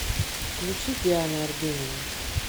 включи диана арбенина